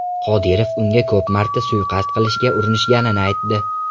Qodirov unga ko‘p marta suiqasd qilishga urinishganini aytdi.